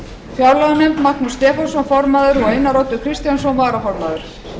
fjárlaganefnd magnús stefánsson formaður og einar oddur kristjánsson varaformaður